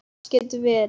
Fall getur verið